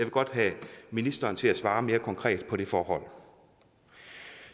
godt have ministeren til at svare mere konkret på det forhold